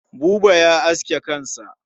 Buba ya aske kansa.